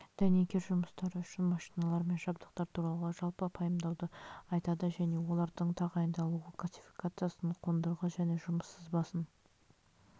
дәнекер жұмыстары үшін машиналар мен жабдықтар туралы жалпы пайымдауды айтады және олардың тағайындалуы классификациясын қондырғы және жұмыс сызбасын